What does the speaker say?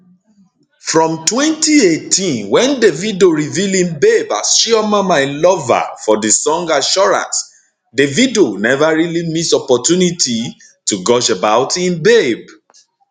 from 2018 wen davido reveal im babe as chioma my lover for di song assurance davido neva really miss opportunity to gush about im babe